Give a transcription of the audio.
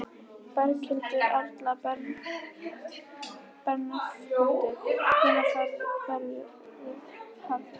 Berghildur Erla Bernharðsdóttir: Hvenær verður hafist handa?